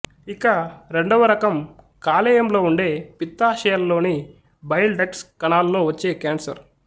ఇక రెండవ రకం కాలేయంలో ఉండే పిత్తాశయాల్లోని బైల్ డక్ట్స్ కణాల్లో వచ్చే కేన్సర్